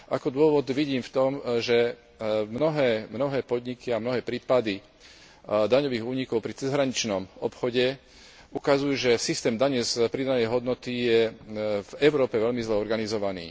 Ako dôvod vidím v tom, že mnohé podniky a mnohé prípady daňových únikov pri cezhraničnom obchode ukazujú, že systém dane z pridanej hodnoty je v Európe veľmi zle organizovaný.